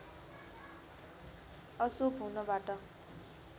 अशुभ हुनबाट